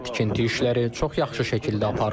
Tikinti işləri çox yaxşı şəkildə aparılır.